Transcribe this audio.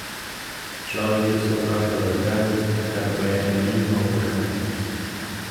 Človek bi se vprašal zakaj, kar pa je naivno vprašanje.